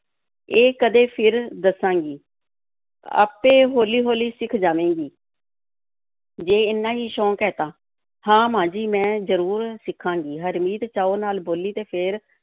ਇਹ ਕਦੇ ਫਿਰ ਦੱਸਾਂਗੀ, ਆਪੇ ਹੌਲੀ-ਹੌਲੀ ਸਿੱਖ ਜਾਵੇਂਗੀ ਜੇ ਏਨਾ ਹੀ ਸ਼ੌਕ ਹੈ ਤਾਂ, ਹਾਂ, ਮਾਂ ਜੀ, ਮੈਂ ਜ਼ਰੂਰ ਸਿੱਖਾਂਗੀ, ਹਰਮੀਤ ਚਾਅ ਨਾਲ ਬੋਲੀ ਅਤੇ ਫਿਰ